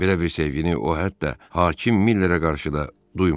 Belə bir sevgini o hətta hakim Millerə qarşı da duymamışdı.